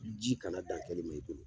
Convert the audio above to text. Ji kana dan kɛli ma i bolo